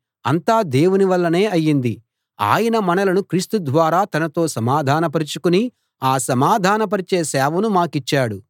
అంతా దేవుని వల్లనే అయ్యింది ఆయన మనలను క్రీస్తు ద్వారా తనతో సమాధానపరచుకుని ఆ సమాధాన పరచే సేవను మాకిచ్చాడు